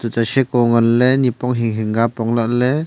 toita heko ngan ley nipong hing hing ka apong lah ley.